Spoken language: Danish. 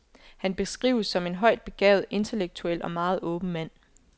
Han beskrives som en højt begavet, intellektuel og meget åben mand.